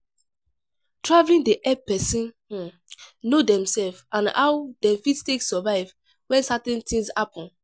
Travelling dey help person um know themself and how dem fit take survive when certain tins happen